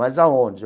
Mas aonde?